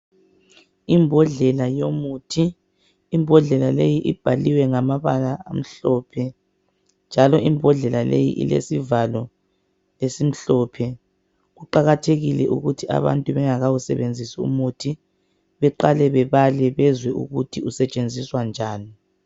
Imbodlela yomuthi. Imbodlela leyi ibhaliwe ngamabala amhlophe njalo imbodlela leyi ilesivalo esimhlophe. Kuqakathekile ukuthi bengakawusebenzisi umuthi beqale bebale bezwe ukuthi usetshenziswa njani.